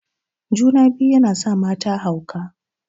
Juna-biyu yana sa mata hauka.